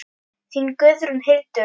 Þín Guðrún Hildur.